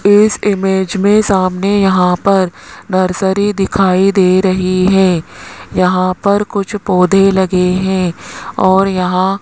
इस इमेज मे सामने यहां पर नर्सरी दिखाई दे रही है यहां पर कुछ पौधे लगे हुए है और यहां --